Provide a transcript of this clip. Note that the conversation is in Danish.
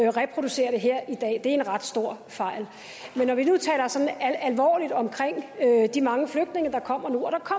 at reproducere det her i dag det er en ret stor fejl men når vi nu taler sådan alvorligt om de mange flygtninge der kommer nu